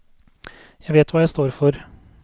Jeg vet hva jeg står for.